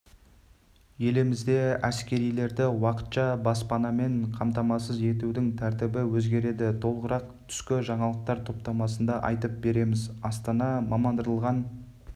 елімізде әскерилерді уақытша баспанамен қамтамасыз етудің тәртібі өзгереді толығырақ түскі жаңалықтар топтамасында айтып береміз астана мамандандырылған